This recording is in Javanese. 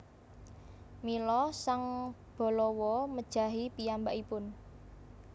Mila sang Balawa mejahi piyambakipun